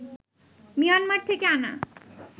Myanmar থেকে আনা